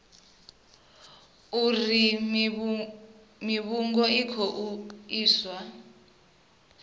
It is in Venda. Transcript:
uri mivhigo i khou iswa